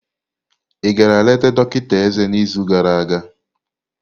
igara leta dọkịta eze n'izu gara aga?